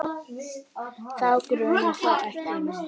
Þá grunar þó ekki mig?